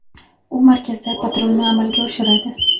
U markazda patrulni amalga oshiradi.